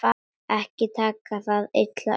Ekki taka það illa upp.